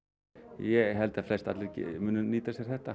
ég held að flestallir muni nýta sér þetta